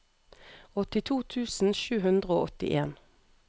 åttito tusen sju hundre og åttien